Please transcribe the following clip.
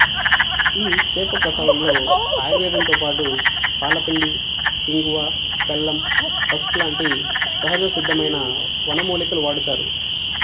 ఈ చేపప్రసాదంలో ఆయుర్వేదంతో పాటు పాల పిండి ఇంగువా బెల్లం పసుపు లాంటి సహజసిద్ధమైన వనమూలికలు వాడుతారు